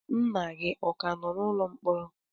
nna gị ọ ka nọ n'ụlọ mkpọrọ?